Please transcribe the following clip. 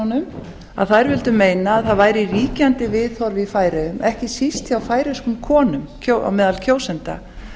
þingkonunum að þær vildu meina að það væri ríkjandi viðhorf í færeyjum ekki síst hjá færeyskum konum meðal kjósenda